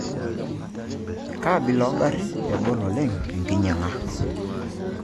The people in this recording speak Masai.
Kaa ambila oongarrin egol oleng' enkinyiang'a?